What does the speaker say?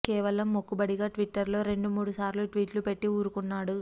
కేవలం మొక్కుబడిగా ట్విట్టర్ లో రెండు మూడు సార్లు ట్విట్లు పెట్టి ఊరుకున్నాడు